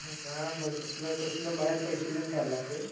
हा मर्दा तसलं तसलं बाहेर पैसे देऊन खायला लागतंय.